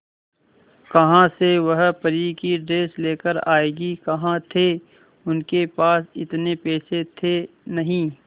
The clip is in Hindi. कहां से वह परी की ड्रेस लेकर आएगी कहां थे उनके पास इतने पैसे थे नही